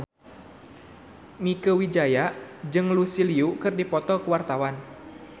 Mieke Wijaya jeung Lucy Liu keur dipoto ku wartawan